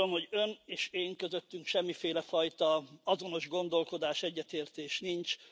Azt gondolom, hogy Ön és én közöttem semmiféle fajta azonos gondolkodás, egyetértés nincs.